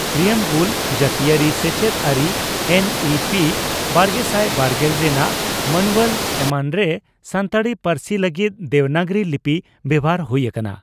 Preamble ᱡᱟᱟᱹᱛᱤᱭᱟᱹᱨᱤ ᱥᱮᱪᱮᱫ ᱟᱹᱨᱤ ᱮᱱ ᱤ ᱯᱤ ᱵᱟᱨᱜᱮᱥᱟᱭ ᱵᱟᱨᱜᱮᱞ ᱨᱮᱱᱟᱜ ᱢᱟᱱᱩᱣᱟᱞ ᱮᱢᱟᱱᱨᱮ ᱥᱟᱱᱛᱟᱲᱤ ᱯᱟᱹᱨᱥᱤ ᱞᱟᱹᱜᱤᱫ ᱫᱮᱵᱽᱱᱟᱜᱨᱤ ᱞᱤᱯᱤ ᱵᱮᱵᱷᱟᱨ ᱦᱩᱭ ᱟᱠᱟᱱᱟ ᱾